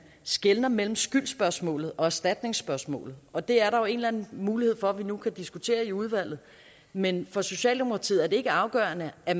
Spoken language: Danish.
skelner mellem skyldsspørgsmålet og erstatningsspørgsmålet og det er der jo en eller anden mulighed for at vi nu kan diskutere i udvalget men for socialdemokratiet er det ikke afgørende at